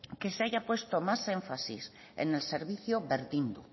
que se haya puesto más énfasis en el servicio berdindu